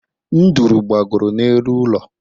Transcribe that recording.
Nduru gbagoro n’elu ụlọ